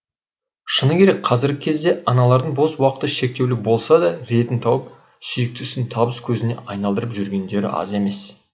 шыны керек қазіргі кезде аналардың бос уақыты шектеулі болса да ретін тауып сүйікті ісін табыс көзіне айналдырып жүргендері аз емес